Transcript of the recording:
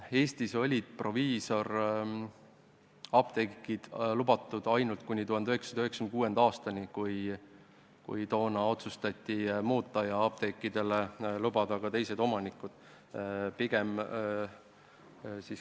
Eestis olid ainult proviisorapteegid lubatud kuni 1996. aastani, kui otsustati seadust muuta ja lubada apteekidele ka teisi omanikke.